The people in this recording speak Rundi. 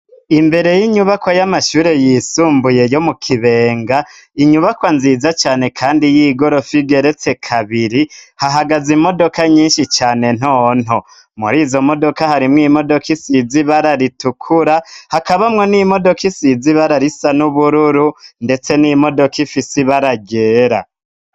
Imbere y'inyubakwa y'amashuri yisumbuye yo mu Kibenga, inyubakwa nziza cane kandi y'igorofa igeretse kabiri, hahagaze imodoka nyinshi cane nto nto. Muri izo modoka harimwo imodoka isize ibara ritukura hakabamwo n'imodoka isize ibara risa n'ubururu, ndetse n'imodoka ifise ibara ryera.